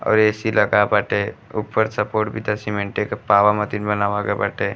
और ए.सी. लगा बाटे। ऊपर सपोर्ट भी त सीमेंटे के पावा मतीन बनावा गए बाटे।